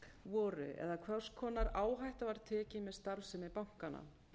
voru eða hvers konar áhætta var tekin með starfsemi bankanna